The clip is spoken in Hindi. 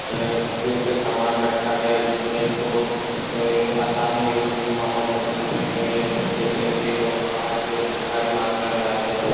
अ उपयुक्त सामान रखा गया है जिससे इनको अ आसानी सी माहौल में ढल सके और यह देखने के लिए लोग बाहर से भारी मात्रा में आते हैं।